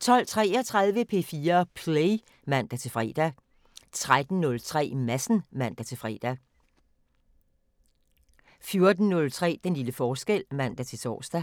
12:33: P4 Play (man-fre) 13:03: Madsen (man-fre) 14:03: Den lille forskel (man-tor)